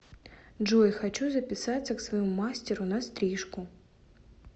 джой хочу записаться к своему мастеру на стрижку